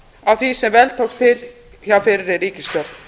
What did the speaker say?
á því sem vel tókst til hjá fyrri ríkisstjórn